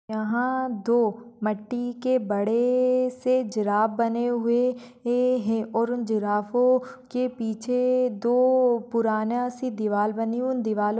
यहां दो मट्टी के बड़े-एए से जिराफ बने हुए ए-ए-है और उन जिराफो के पीछे दो पुराना-अअ सी दीवार बनी है और उन दीवारों पर--